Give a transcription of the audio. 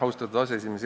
Austatud aseesimees!